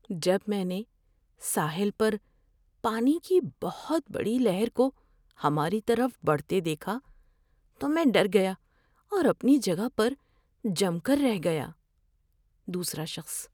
جب میں نے ساحل پر پانی کی بہت بڑی لہر کو ہماری طرف بڑھتے دیکھا تو میں ڈر گیا اور اپنی جگہ پر جم کر رہ گیا۔ (دوسرا شخص)